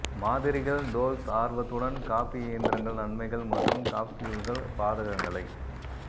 மாதிரிகள் டோல்ஸ் ஆர்வத்துடன் காபி இயந்திரங்கள் நன்மைகள் மற்றும் காப்ஸ்யூல்கள் பாதகங்களை